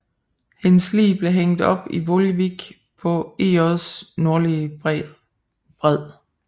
Hendes lig blev hængt op i Volewijk på IJs nordlige bred